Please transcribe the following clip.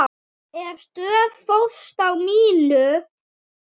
Ég stóð föst á mínu.